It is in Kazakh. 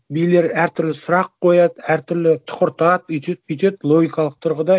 билер әр түрлі сұрақ қояды әр түрлі тұқыртады өйтеді бүйтеді логикалық тұрғыда